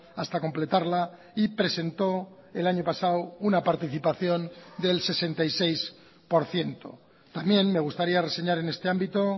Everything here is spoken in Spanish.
hasta completarla y presentó el año pasado una participación del sesenta y seis por ciento también me gustaría reseñar en este ámbito